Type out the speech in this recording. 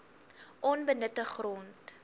onbenutte grond